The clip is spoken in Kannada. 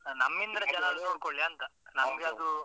ನಮ್ಮಿಂದಲು ಜನರು ನೋಡ್ಕೊಳ್ಳಿ ಅಂತ ನಮ್ಮ್ಗದು